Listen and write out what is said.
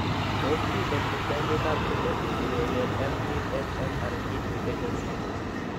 Tos' miten mityaaniikap genetic si keker MTHFR gene mutations?